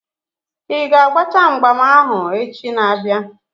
Ị ga-agbacha mgbam ahụ echi na-abịa?